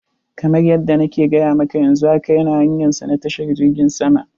Kamar yadda na ke gaya maka, yanzu haka yana hanyansa na tashar jirgin sama.